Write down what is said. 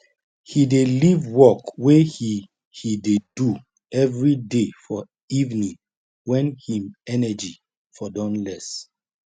he dey leave work wey he he dey do evriday for evening wen him energy for don less